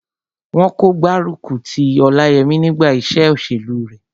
Wọn kò gbárùkù ti Ọláyẹmí nípa iṣẹ́ òṣèlú rẹ̀